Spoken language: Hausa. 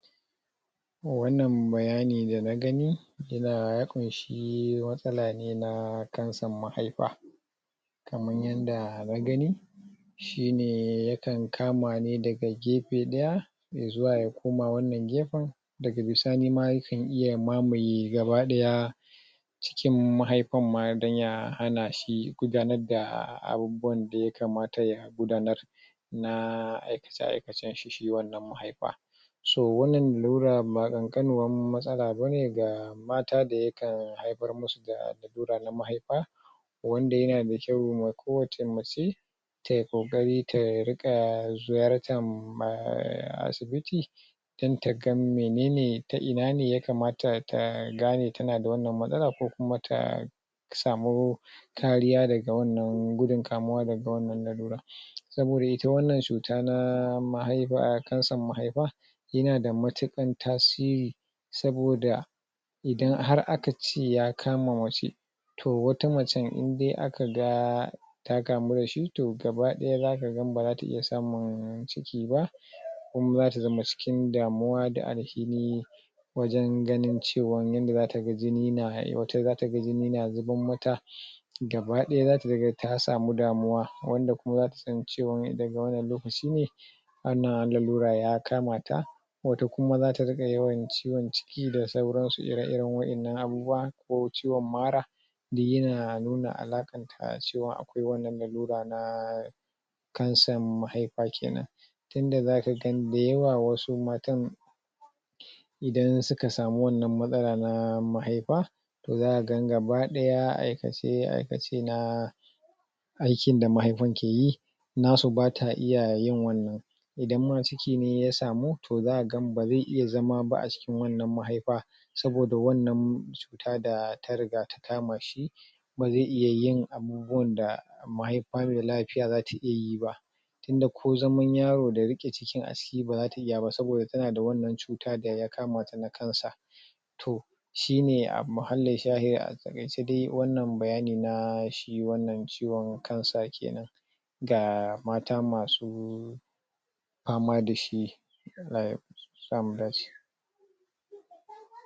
wannan bayani da nagani yana ya kunshi wani matsala ne na cancern mahaifa kaman yanda na gani shine ne ya kan kama ni daga gefe ɗaya zuma ya koma wannan gefen daga bisani yakan iya mamaye gaba ɗaya cikin mahiifan ma dan ya hana shi gudanar da abubuwan da ya kamata ya gudanar na aikace aikacen shi na shi wannan mahaifan so wannan lalura ba ƙankaninuwan matsala bane ga fata da yakan haifar mishi da wuraren mahaifa da wanda yana mai kyau ga kowani mace tayi kokari ta ringa ziyartan um asibiti dan ta ga menene ta ina ne ya kamata ta gane tana da wannan matsala ko kuma ta samu kariya daga wannan gudun kamuwa daga wannan lallura saboda ita wannan cuta na mahaifa cancern mahaifa yana da matuƙar tasiri saboda idan har aka ce ya kama mace toh wata macen indai aka ga ta kamu da shi toh gaba ɗaya zaka ga baza ta iya samun ciki ba kuma zata zama cikin damuwa da wajen ganin cewa yadda zata ga gini na zuban mata gaba ɗaya zata zamo ta samu damuwa wanda kuma zata san cewa daga wannan lokaci ne wannan lallura ya kamata wato kuma zata ringa yawwan ciwon ciki da sauran su ire iren wa'ennan abubuwan ko ciwon mara duk yana nuna alakan ta na cewa akwai wannan lallura na cancern mahaifa kenan tunda zata ga da yawa wasu matan idan suka samu wannan matsala na mahaifa za'a ga gaba ɗaya aikace aikace na aikin da mahaifan ke yi nasu bata iya yin wannan idan ma ciki ne ya samu zaka ga bazai iya zama ba a cikin wannan mahaifa saboda wannan cuta da ta riga ta kama shi ba zai iya yin abubuwan da mahaifa mai lafiya zata iya yi ba itun da ko zaman yaro da yake cikin baza ta iya ba saboda tana da wannan cuta da yakamata na cancer toh shine abu yanzu dai wannan bayani na wannan ciwon cancer kenan ga mata masu fama dashi Allah ya sa mu dace